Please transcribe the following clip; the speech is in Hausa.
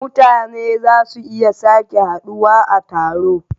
mutane za su iya sake haduwa a taro.